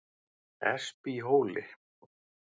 Espihóli